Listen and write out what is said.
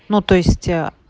ну то есть ээ